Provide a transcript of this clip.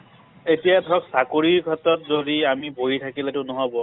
এতিয়া ধৰক চাকৰি ক্ষেত্ৰত যদি আমি বহি থাকিলে টো নহব।